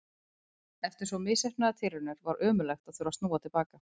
Eftir svo misheppnaðar tilraunir var ömurlegt að þurfa að snúa til baka.